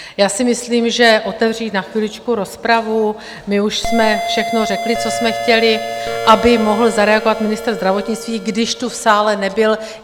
Já si myslím, že otevřít na chviličku rozpravu - my už jsme všechno řekli, co jsme chtěli - aby mohl zareagovat ministr zdravotnictví, když tu v sále nebyl.